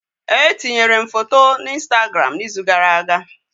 Etinyere m foto na Instagram n'izu gara aga